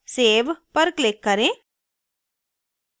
save पर click करें